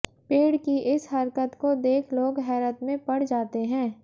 पेड़ की इस हरकत को देख लोग हैरत में पड़ जाते हैं